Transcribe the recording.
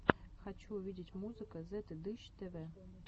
хочу увидеть музыка зетыдыщ тэвэ